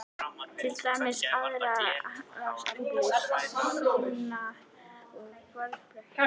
Til dæmis: aðdráttarafl, sjónauki og sporbaugur.